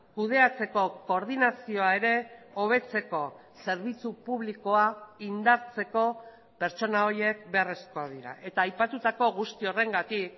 kudeatzeko koordinazioa ere hobetzeko zerbitzu publikoa indartzeko pertsona horiek beharrezkoak dira eta aipatutako guzti horrengatik